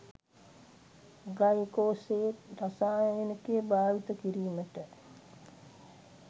glyphosate රසායනිකය භාවිත කිරීමට